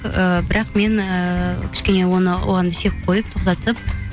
ыыы бірақ мен ыыы кішкене оны оған шек қойып тоқтатып